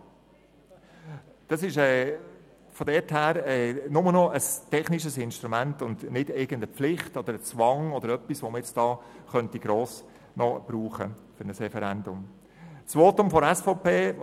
Daher handelt es sich bloss noch um ein technisches Instrument und nicht um irgendeine Pflicht, einen Zwang oder sonst etwas, um dies noch gross für ein Referendum verwenden könnte.